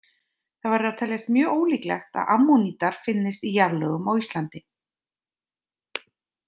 Það verður að teljast mjög ólíklegt að ammonítar finnist í jarðlögum á Íslandi.